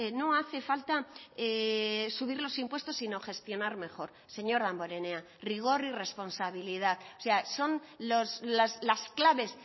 no hace falta subir los impuestos sino gestionar mejor señor damborenea rigor y responsabilidad o sea son las claves